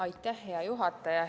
Aitäh, hea juhataja!